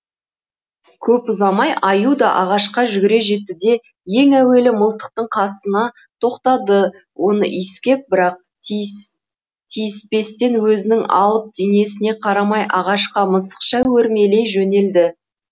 көп ұзамай аю да ағашқа жүгіре жетті де ең әуелі мылтықтың қасына тоқтады оны иіскеп бірақ тиіспестен өзінің алып денесіне қарамай ағашқа мысықша өрмелей жөнелді